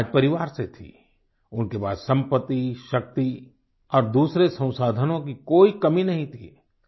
वे एक राज परिवार से थीं उनके पास संपत्ति शक्ति और दूसरे संसाधनों की कोई कमी नहीं थी